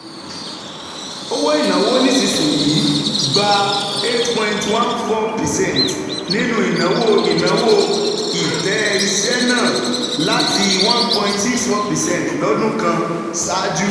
Owó ìnáwó nísinsìnyí gba eight, fourteen percent nínú ìnáwó ìnáwó ilé-iṣẹ́ náà, láti one point six four percent lọ́dún kan ṣáájú.